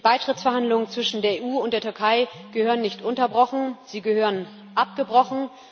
Die Beitrittsverhandlungen zwischen der EU und der Türkei gehören nicht unterbrochen, sie gehören abgebrochen.